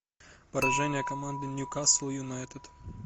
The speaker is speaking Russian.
поражение команды ньюкасл юнайтед